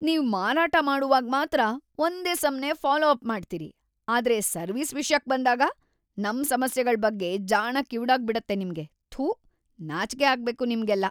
ನೀವ್ ಮಾರಾಟ ಮಾಡುವಾಗ್‌ ಮಾತ್ರ ಒಂದೇ ಸಮ್ನೇ ಫಾಲೋ ಅಪ್ ಮಾಡ್ತೀರಿ ಆದ್ರೆ ಸರ್ವಿಸ್ ವಿಷ್ಯಕ್ ಬಂದಾಗ, ನಮ್ ಸಮಸ್ಯೆಗಳ್ ಬಗ್ಗೆ ಜಾಣ ಕಿವುಡಾಗ್ಬಿಡತ್ತೆ ನಿಮ್ಗೆ, ಥೂ ನಾಚ್ಕೆ ಆಗ್ಬೇಕು ನಿಮ್ಗೆಲ್ಲ!